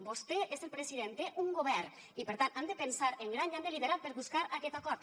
vostè és el president té un govern i per tant han de pensar en gran i han de liderar per buscar aquest acord